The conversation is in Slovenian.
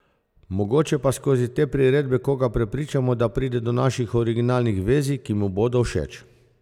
Mogoče pa skozi te priredbe koga prepričamo, da pride do naših originalnih verzij, ki mu bodo všeč.